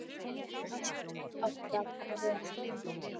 Allt átti að fara vel.